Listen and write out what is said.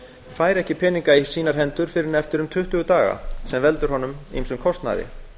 fær ekki peninga í sínar hendur fyrr en eftir um tuttugu daga sem veldur honum ýmsum kostnaði